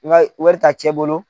I b'a ye wari ta cɛ bolo